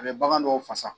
A bɛ bagan dɔw fasa